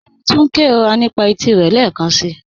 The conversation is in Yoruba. Kẹ́mí túń n kẹróra nípa ètí rẹ lẹ́kansi